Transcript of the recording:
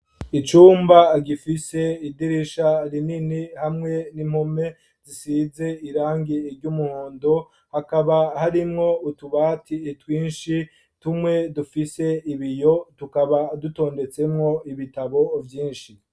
Icumba, gifise idirisha rinini, hamwe n'impome, zisize irangi ry'umuhondo; hakaba harimwo, utubati twinshi, tumwe dufise ibiyo, tukaba, dutondetsemwo ibitabo vyinshi.